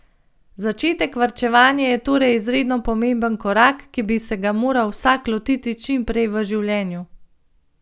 Začetek varčevanja je torej izredno pomemben korak, ki bi se ga moral vsak lotiti čim prej v življenju.